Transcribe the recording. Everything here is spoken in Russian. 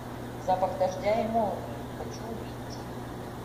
запах дождя и молнии хочу увидеть